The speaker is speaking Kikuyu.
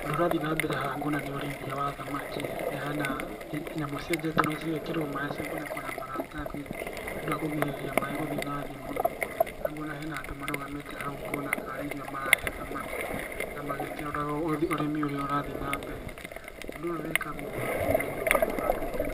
Ũndũ ũrĩa ũrathiĩ nambere haha nguona nĩũrĩithia wa thamaki, na hena nyamũ cienjetwo na cigekĩrwo maaĩ nacigakunĩkwo na maratathi nĩũndũ wa kũgirĩrĩria maaĩ gũthiĩ nathĩ mũno, na nguona hena andũ marĩgamĩte hau ũguo, na karĩ irio marahe thamaki na magĩkĩroraga ũrĩmi ũrĩa ũrathiĩ nambere. Ũndũ ũyũ wĩkagwo nĩ andũ mebangĩte